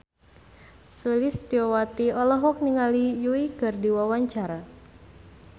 Sulistyowati olohok ningali Yui keur diwawancara